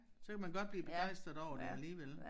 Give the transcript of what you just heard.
Så kan man godt blive begejstret over det alligevel